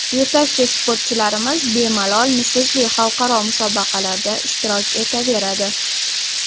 Yetakchi sportchilarimiz bemalol nufuzli xalqaro musobaqalarda ishtirok etaveradi.